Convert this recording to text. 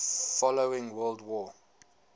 following world war